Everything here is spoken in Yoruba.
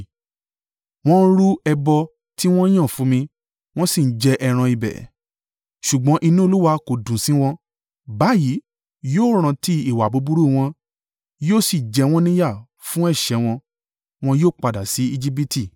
Wọ́n ń rú ẹbọ tí wọ́n yàn fún mi, wọ́n sì ń jẹ ẹran ibẹ̀, ṣùgbọ́n inú Olúwa kò dùn sí wọn. Báyìí yóò rántí ìwà búburú wọn yóò sì jẹ wọ́n ní yà fún ẹ̀ṣẹ̀ wọn. Wọn yóò padà sí Ejibiti.